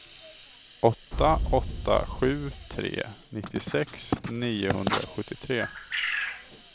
åtta åtta sju tre nittiosex niohundrasjuttiotre